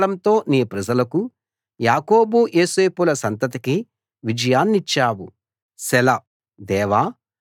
నీ గొప్ప బలంతో నీ ప్రజలకుయాకోబు యోసేపుల సంతతికి విజయాన్నిచ్చావు సెలా